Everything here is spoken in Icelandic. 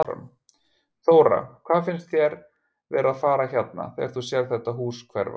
Þóra: Hvað finnst þér vera að fara hérna þegar þú sérð þetta hús hverfa?